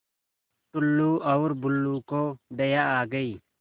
टुल्लु और बुल्लु को दया आ गई